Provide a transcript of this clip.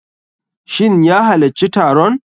Shin ya halacci taron?